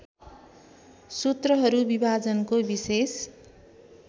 सूत्रहरू विभाजनको विशेष